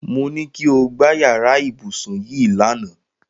Mo ní kí o gbá yàrá ibùsùn yìí lánàá